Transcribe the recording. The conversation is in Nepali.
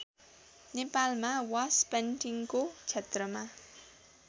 नेपालमा वासपेन्टिङको क्षेत्रमा